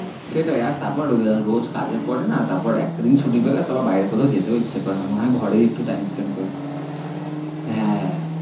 সেটাই আর তারপর রোজ কাজের পরে না তারপর একটা দিন ছুটি পেলে আর তারপর বায়েরে কোথাও যেতেই আর ইচ্ছে করে না, মনেহয়ে ঘরেই একটু time spend করি।